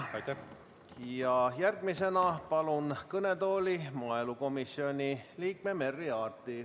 Järgmisena palun kõnetooli maaelukomisjoni liikme Merry Aarti.